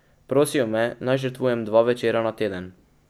Prosijo me, naj žrtvujem dva večera na teden.